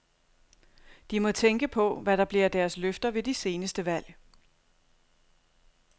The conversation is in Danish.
De må tænke på, hvad der blev af deres løfter ved de seneste valg.